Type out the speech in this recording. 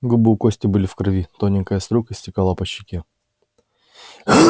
губы у кости были в крови тоненькая струйка стекала по щеке